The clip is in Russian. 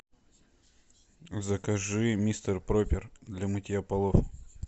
закажи мистер пропер для мытья полов